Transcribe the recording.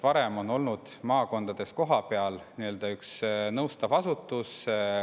Varem ju oli maakondades kohapeal üks nõustav asutus.